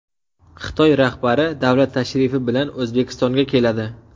Xitoy rahbari davlat tashrifi bilan O‘zbekistonga keladi .